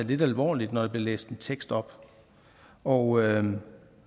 lidt alvorligt når der bliver læst en tekst op og